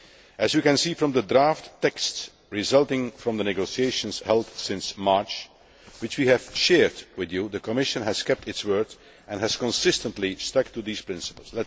As you can see from the draft texts resulting from the negotiations held since March, which we have shared with you, the Commission has kept its word and has consistently stuck to these principles.